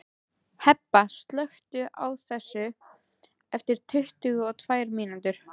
Hebba, slökktu á þessu eftir tuttugu og tvær mínútur.